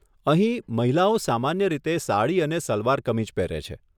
અહીં, મહિલાઓ સામાન્ય રીતે સાડી અને સલવાર કમીઝ પહેરે છે.